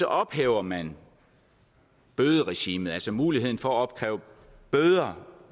ophæver man bøderegimet altså muligheden for at opkræve bøder